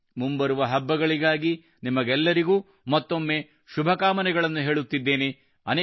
ನೀವೆಲ್ಲರೂ ಮುಂಬರುವ ಹಬ್ಬಗಳಿಗಾಗಿ ನಿಮಗೆಲ್ಲರಿಗೂ ಮತ್ತೊಮ್ಮೆ ಶುಭಕಾಮನೆಗಳನ್ನು ಹೇಳುತ್ತಿದ್ದೇನೆ